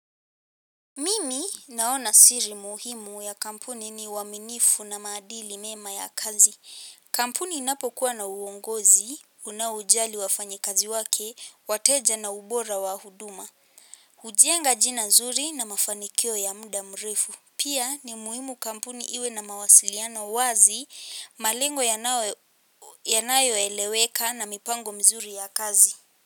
Mimi naona siri muhimu ya kampuni ni uaminifu na maadili mema ya kazi. Kampuni inapokuwa na uongozi, unaojali wafanyikazi wake, wateja na ubora wa huduma. Ujenga jina nzuri na mafanikio ya muda mrefu. Pia ni muhimu kampuni iwe na mawasiliano wazi, malengo yanayoeleweka na mipango mizuri ya kazi.